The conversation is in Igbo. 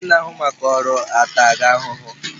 Ndị na-ahụ maka ọrụ a taa gị ahụhụ?